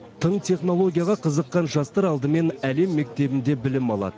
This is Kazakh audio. тың технологияға қызыққан жастар алдымен әлем мектебінде білім алады